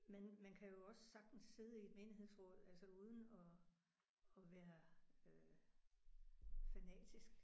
Men man kan jo også sagtens sidde i et menighedsråd altså uden at at være øh fanatisk